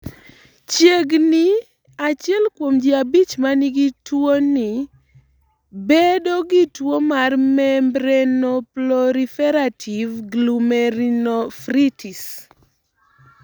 Chiegni ni 1 kuom ji 5 ma nigi tuwoni bedo gi tuwo mar membranoproliferative glomerulonephritis.